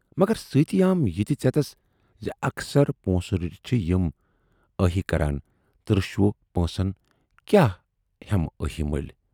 "مگر سۭتۍ آم یہِ تہِ ژٮ۪تس زِ"اکثر پونسہٕ رٔٹِتھ چھِ یِم ٲہی کران تہٕ رشوٕ پۄنٛسن کیاہ ہٮ۪مہٕ ٲہی مٔلۍ۔